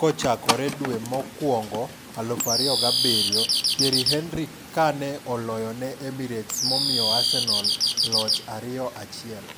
kochakoredwe mokwongoi 2007 Thierry Henry kane oloyone Emirates momiyo Arsenal loch 2-1.